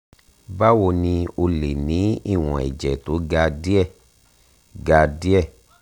báwo ni o lè ní ìwọ̀n ẹ̀jẹ̀ tó ga díẹ̀ ga díẹ̀